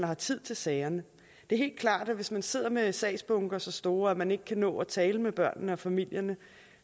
har tid til sagerne det er helt klart at hvis man sidder med sagsbunker så store at man ikke kan nå at tale med børnene og familierne